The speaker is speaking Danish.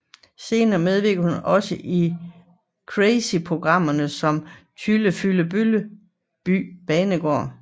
Senere medvirkede hun også i crazyprogrammerne om Tyllefyllebølleby banegård